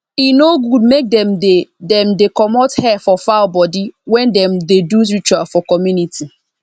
e no good make dem dey dem dey comot hair for fowl body wen dem dey do ritual for community